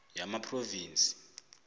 yamaphrovinsi